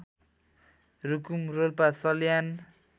Rukum Rolpa Salyan